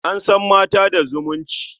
An san mata da zumunci.